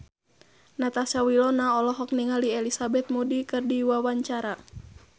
Natasha Wilona olohok ningali Elizabeth Moody keur diwawancara